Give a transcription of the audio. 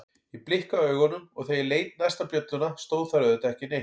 Ég blikkaði augunum og þegar ég leit næst á bjölluna stóð þar auðvitað ekki neitt.